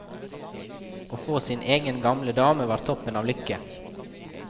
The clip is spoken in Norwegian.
Å få sin egen gamle dame var toppen av lykke.